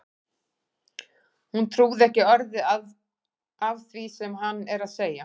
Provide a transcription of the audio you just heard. Hún trúir ekki orði af því sem hann er að segja!